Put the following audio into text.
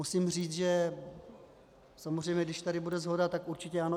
Musím říct, že samozřejmě, když tady bude shoda, tak určitě ano.